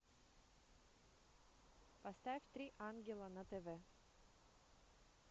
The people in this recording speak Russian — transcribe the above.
поставь три ангела на тв